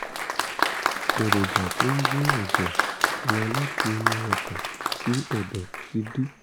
èròjà tó ń gbé ẹ̀jẹ̀ lọ láti inú ọkàn sí ẹ̀dọ̀ ti dí